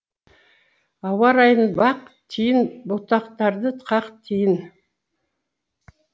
ауа райын бақ тиін бұтақтарды қақ тиін